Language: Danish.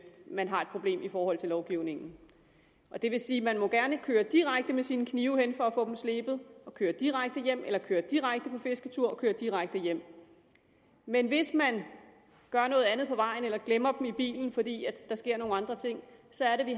man har et problem i forhold til lovgivningen det vil sige at man gerne må køre direkte med sine knive hen for at få dem slebet og køre direkte hjem eller køre direkte på fisketur og køre direkte hjem men hvis man gør noget andet på vejen eller glemmer dem i bilen fordi der sker nogle andre ting så